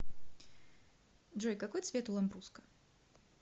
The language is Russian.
джой какой цвет у ламбруско